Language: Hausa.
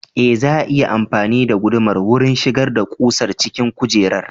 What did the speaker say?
Ee, za a iya amfani da gudumar wurin shigar da ƙusar cikin kujerar.